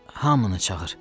Hamını çağır.